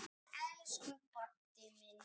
Elsku Baddi minn.